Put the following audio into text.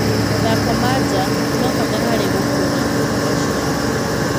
Mathako ma njaa nimabata harĩ gukura gwa ciana